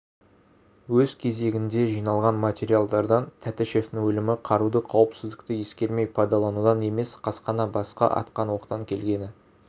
өз кезегінде жиналған материалдардан тәтішевтің өлімі қаруды қауіпсіздікті ескермей пайдаланудан емес қасақана басқа атқан оқтан келгені